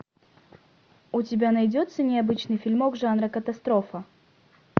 у тебя найдется необычный фильмок жанра катастрофа